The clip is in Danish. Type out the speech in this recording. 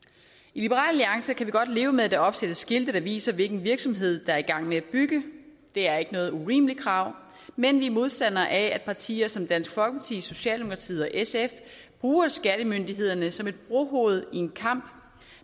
i liberal alliance kan vi godt leve med at der opsættes skilte der viser hvilken virksomhed der er i gang med at bygge det er ikke noget urimeligt krav men vi er modstandere af at partier som dansk folkeparti socialdemokratiet og sf bruger skattemyndighederne som et brohoved i en kamp